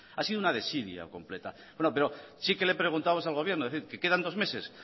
ha sido una desidia completa bueno pero sí que le he preguntamos al gobierno es decir que quedan dos meses